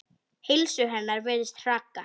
Heilsu hennar virðist hraka.